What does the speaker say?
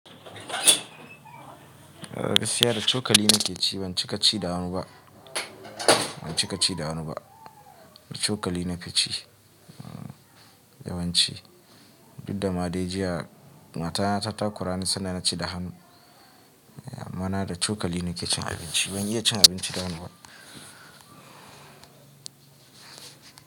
A'a gaskiya da cokali nake ci, ban cika ci da hanu ba. Ban cika ci da hanu ba, da cokali nafi ci yawanci. Duk da ma dai jiya matata ta kora ni sanda naci da hanu. Ma'ana da cokali nake cin abinci. Ban iya cin abinci da hanu ba.